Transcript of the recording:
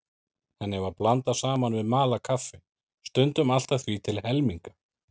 Henni var blandað saman við malað kaffi, stundum allt að því til helminga.